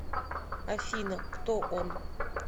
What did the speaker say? афина кто он